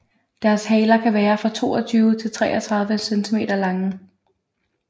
Deres haler kan være fra 22 til 33 cm lange